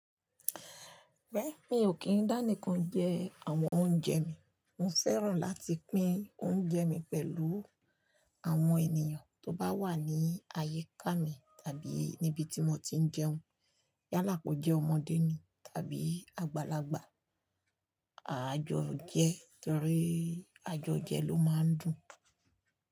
Bẹ́ẹ̀ni, mi ò kí ń dá nìkan jẹ àwọn oúnjẹ mi. Mo fẹ́ràn láti pín oúnjẹ mi pẹ̀lú àwọn ènìyàn tó bá wà ní àyíká mi tàbí níbi tí mo ti ń jẹun. Yálà kó jẹ́ ọmọdé ni tàbí àgbàlagbà, àjọ jẹ torí àjọ jẹ ló máa ń dùn.